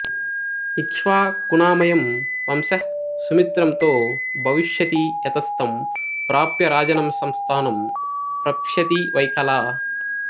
ఇక్ష్వాకుణామయం వంశః సుమిత్రంతో భవిష్యతి యతస్తం ప్రాప్య రాజానంసంస్థానం ప్రప్స్యతి వెైకలా